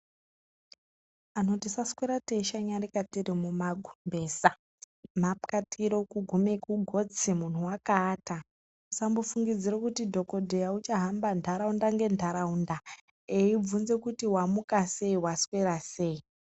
Antu tisaswera teishanyarika tiri mumagumbeza , nhapwatiro kugume kugotsi muntu wakaata usambofungidzira kuti dzokodheya uchahamba nharaunda nenharaunda eibvunza kuti wamukasei waswera sei .